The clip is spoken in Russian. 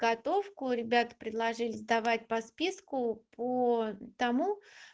готовку ребята предложили сдавать по списку по тому